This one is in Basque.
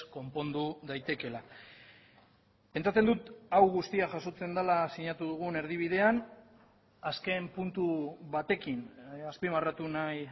konpondu daitekeela pentsatzen dut hau guztia jasotzen dela sinatu dugun erdibidean azken puntu batekin azpimarratu nahi